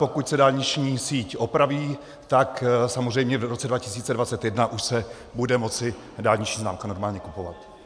Pokud se dálniční síť opraví, tak samozřejmě v roce 2021 už se bude moci dálniční známka normálně kupovat.